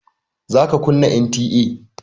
Za ka kunna NTA!